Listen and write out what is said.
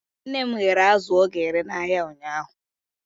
Nne m ghere azụ ọ ga-ere n'ahịa ụnyahụ.